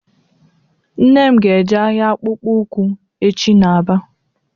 Nne m ga eje ahịa akpụkpọ ụkwụ echi n'Aba